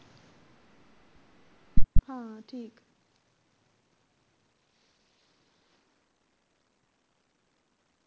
ਹਾਂ ਠੀਕ